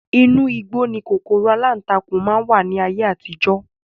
Inu igbó ni kòkòrò alántakùn máa ń wà ní ayé àtijọ́